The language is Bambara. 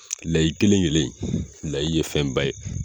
Layi kelen kelen in layi ye fɛnba ye.